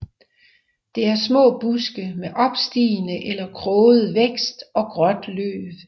Det er små buske med opstigende eller kroget vækst og gråt løv